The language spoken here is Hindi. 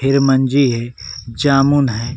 है जामुन है।